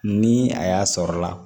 Ni a y'a sɔrɔla la